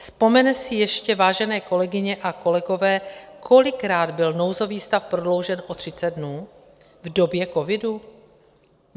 Vzpomenete si ještě, vážené kolegyně a kolegové, kolikrát byl nouzový stav prodloužen o 30 dnů v době covidu?